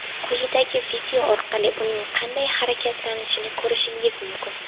Quyidagi video orqali uning qanday harakatlanishini ko‘rishingiz mumkin.